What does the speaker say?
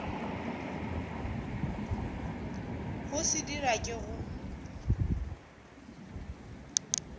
go se dira ke go